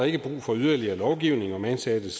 ikke brug for yderligere lovgivning om ansattes